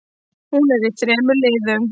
Hún er í þremur liðum.